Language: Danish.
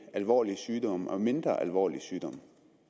alvorlige sygdomme og mindre alvorlige sygdomme